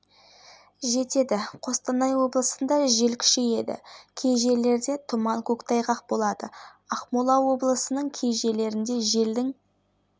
кей жерлерінде тұман болып түнде кей жерлерінде жел күшейеді қызылорда ақтөбе облыстарының кей жерлерінде желдің